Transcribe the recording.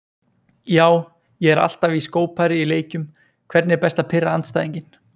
Já, ég er alltaf í skópari í leikjum Hvernig er best að pirra andstæðinginn?